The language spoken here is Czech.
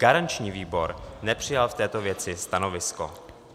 Garanční výbor nepřijal k této věci stanovisko.